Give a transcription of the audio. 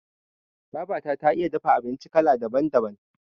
Babata ta iya dafa abinci kala daban- daban.